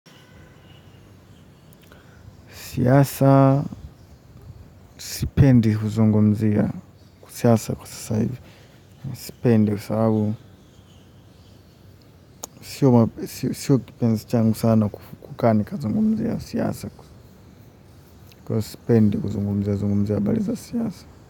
Siasa, sipendi kuzungumzia, siasa kwa sasa hivi, sipendi kwa sababu, siyo kipenzi changu sana kukaa ni kuzungumzia, siasa kwa hivyo sipendi kuzungumzia, zungumzia habari za siasa.